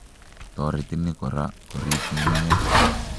Toreti ni kora koriib nyung'unyek